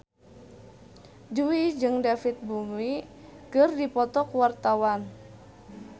Jui jeung David Bowie keur dipoto ku wartawan